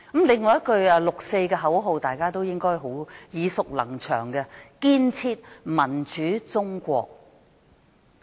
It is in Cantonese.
另一句六四的口號，大家應該耳熟能詳，即"建設民主中國"。